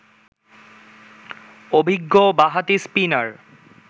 অভিজ্ঞ বাঁহাতি স্পিনার